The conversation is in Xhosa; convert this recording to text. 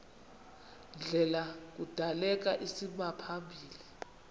ndlela kudaleka isimaphambili